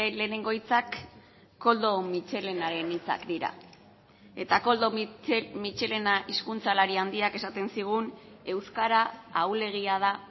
lehenengo hitzak koldo mitxelenaren hitzak dira eta koldo mitxelena hizkuntzalari handiak esaten zigun euskara ahulegia da